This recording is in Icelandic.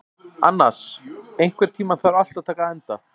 Annas, einhvern tímann þarf allt að taka enda.